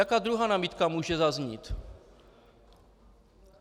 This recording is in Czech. Jaká druhá námitka může zaznít?